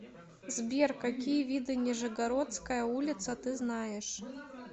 сбер какие виды нижегородская улица ты знаешь